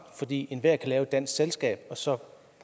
fordi enhver lave et dansk selskab og så